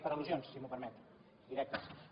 per al·lusions si m’ho permet directes